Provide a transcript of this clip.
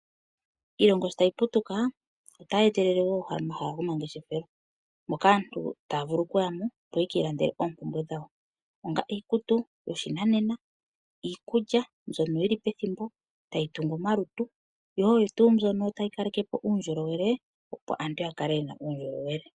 Iilongo shotayi putuka, otayi etele wo omahala gomangeshefelo moka aantu taya vulu okuyamo, opo yeki ilandele oompumbwe dhawo ongaashi iikutu yoshinanena , iikulya mbyono yili pethimbo tayi tungu omalutu, yo oyo tuu mbyono tayi kalekepo uundjolowele opo aantu yakale yena uundjolowele.